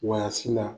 Wa si la